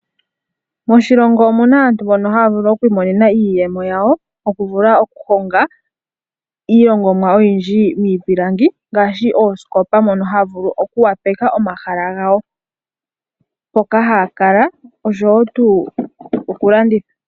Moshilongo omuna aantu mboka haya vulu okwiimonena iiyemo yawo, oku vula oku honga iihongomwa oyindji miipilangi, ngaashi, oosikopa ndhoka hadhivulu oku wapeka omahala gawo mpoka ha ya kala noshowo tuu okulanditha.